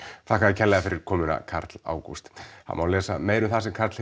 þakka þér kærlega fyrir komuna Karl Ágúst það má lesa meira um það sem Karl